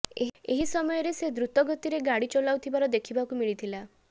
ଏହି ସମୟରେ ସେ ଦ୍ରୁତ ଗତିରେ ଗାଡ଼ି ଚଲାଉଥିବା ଦେଖିବାକୁ ମିଳିଥିଲା